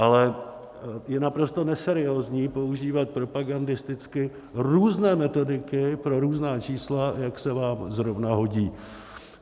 Ale je naprosto neseriózní používat propagandisticky různé metodiky pro různá čísla, jak se vám zrovna hodí.